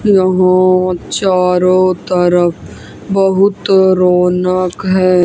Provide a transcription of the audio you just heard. यहां चारों तरफ बहुत रौनक है।